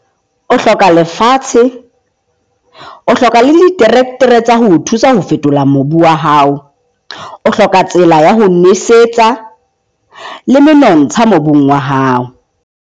O hloka lefatshe, o hloka le tsa ho o thusa ho phethola mobu wa hao. O hloka tsela ya ho nosetsa le menontsha mobung wa hao.